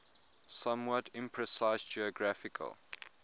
somewhat imprecise geographical